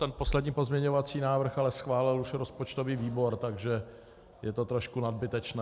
Ten poslední pozměňovací návrh ale schválil už rozpočtový výbor, takže je to trošku nadbytečné.